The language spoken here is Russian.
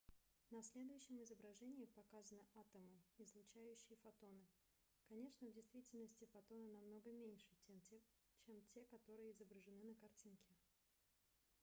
на следующем изображении показаны атомы излучающие фотоны конечно в действительности фотоны намного меньше чем те которые изображены на картинке